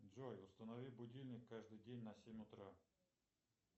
джой установи будильник каждый день на семь утра